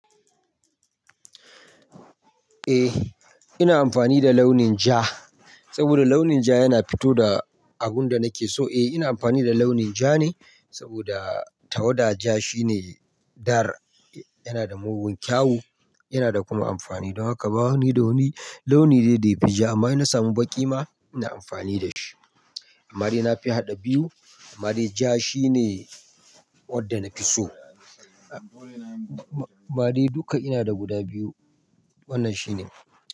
Eh ina amfani da launin ja, saboda launin ja yana fito da abun da nake so. Eh ina amfani da launin ja ne, saboda tawada ja shine dar, yana da mugun kyau yana da kuma amfani. Don haka ba wani da wani launi dai da yafi ja. Amma ina samu baƙi ma ina amfani da shi. Amma dai na fi haɗa biyu. Amma dai ja shine wadda na fi so. Amma dai duka ina da guda biyu. Wannan shine.